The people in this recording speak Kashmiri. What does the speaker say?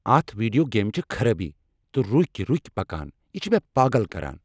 اتھ ویڈیو گیمہ چھےٚ خرٲبی تہ رُکۍ رُکۍ پکان یہ چھ مےٚ پاگل کران۔